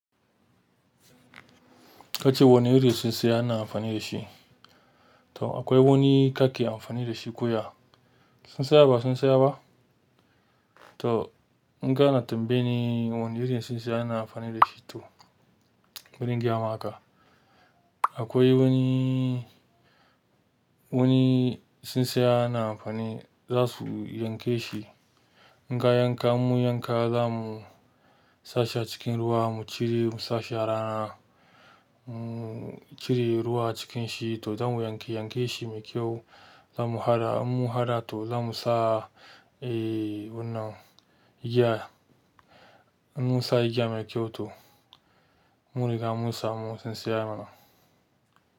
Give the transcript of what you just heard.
Kace wane iri tsintsaya na amfani da shi. To akwai wani kake amfani da shi ko ya. Tsintsaya ba, tsintsaya ba. To n'gana tambaye ni wane irin tsintsaya na amfani da shi to, wurin gyama haka. Akwai wani, wani tsintsaya na amfani za su yanke shi. In kagan ka yanka zamu sa shi a cikin ruwa mu sa shi a rana. Mu cire ruwa cikin shi to za mu yanke, yanke shi mai kyau. Za mu haɗa, in mun haɗa to za mu sa, eh wannan giya. In mun sa igiya mai kyau to, mun riga mun samu tsintsaya mana.